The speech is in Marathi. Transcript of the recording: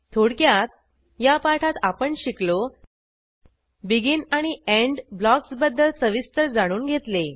थोडक्यात या पाठात आपण शिकलो बेगिन आणि एंड ब्लॉक्सबद्दल सविस्तर जाणून घेतले